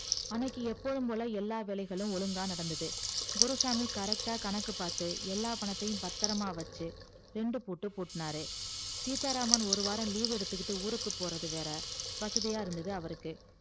அன்னைக்கி எப்பவும் போல எல்லா வேலைகளும் ஒழுங்கா நடந்தது குருசாமி correct ஆ கணக்கு பாத்து எல்லா பணத்தயும் பத்தரமா வச்சி ரெண்டு பூட்டு பூட்டுனாரு சீத்தா ராமன் ஒருவாரம் leave எடுத்துகிட்டு ஊருக்கு போறதுவேற வசதியா இருந்தது அவருக்கு